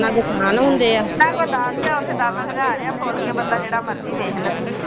ਦਸ ਆ ਉਥੇ ਦਸ ਹਜਾਰ ਆ ਫੋਲ ਕੇ ਬੰਦਾ ਜਿਹੜਾ ਮਰਜੀ ਵੇਖ ਲਵੇ।